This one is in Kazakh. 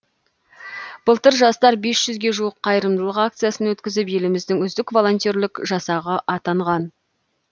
былтыр жастар бес жүзге жуық қайырымдылық акциясын өткізіп еліміздің үздік волонтерлік жасағы атанған